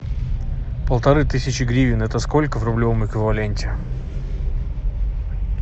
полторы тысячи гривен это сколько в рублевом эквиваленте